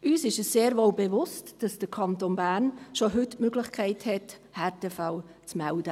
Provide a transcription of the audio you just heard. Uns ist sehr wohl bewusst, dass der Kanton Bern schon heute die Möglichkeit hat, Härtefälle zu melden.